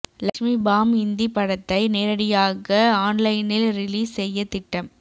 Lakshmi bomb Hindi படத்தை நேரடியாக ஆன்லைனில் ரிலீஸ் செய்ய திட்டம்